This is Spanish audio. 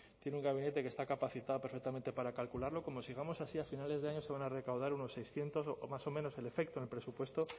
que está capacitado perfectamente para calcularlo como sigamos así a finales de año se van a recaudar unos seiscientos o más o menos el efecto en el presupuesto